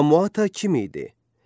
Qamaata kim idi?